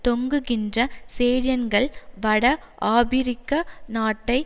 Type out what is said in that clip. தொங்குகின்ற சேடியன்கள் வட ஆபிரிக்க நாட்டை